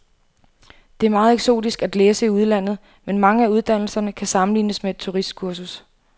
Det er meget eksotisk at læse i udlandet, men mange af uddannelserne kan sammenlignes med et turistkursus.